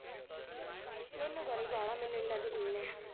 ਮੈਨੂੰ ਤਾਂ ਨੀ ਪਾਉਣਾ ਮੈਨੂੰ ਏਨਾਂ ਯਕੀਨ ਐ